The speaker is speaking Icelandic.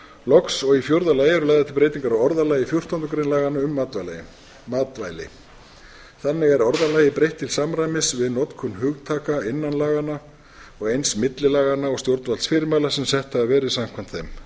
loks og í fjórða lagi eru lagðar til breytingar á orðalagi fjórtándu grein laganna um matvæli þannig er orðalagi breytt til samræmis við notkun hugtaka innan laganna og eins milli laganna og stjórnvaldsfyrirmæla sem sett hafa verið samkvæmt þeim